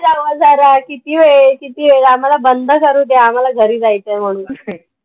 आवरा जरा किती, किती वेळ? आम्हाला बंद करुद्या. आम्हाला घरी जायचंय म्हणून.